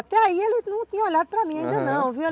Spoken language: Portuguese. Até aí ele não tinha olhado para mim ainda não, viu? Aham.